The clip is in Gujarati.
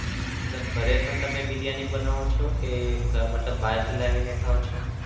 મતલબ ઘરે પણ તમે બિરિયાની બનાવો છો કે મતલબ બારથી લાવીને ખાવ છો?